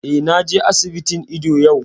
Eh, na je asibitin ido yau